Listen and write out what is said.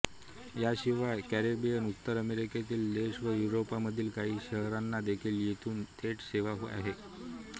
याशिवाय कॅरिबियन उत्तर अमेरिकेतील देश व युरोपमधील काही शहरांना देखील येथून थेट सेवा आहे